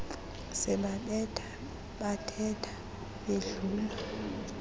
sebabetha babetha bedlula